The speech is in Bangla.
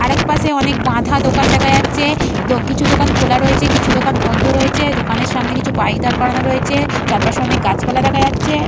আর এক পাশে অনেক বাঁধা দোকান দেখা যাচ্ছে আ কিছু দোকান খোলা রয়েছে কিছু দোকান বন্ধ রয়েছে দোকানের সামনে কিছু বাইক দাড় করানো রয়েছে চারপাশে অনেক গাছপালা দেখা যাচ্ছে।